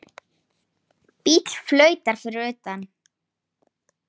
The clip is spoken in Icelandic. Bíll flautar fyrir utan.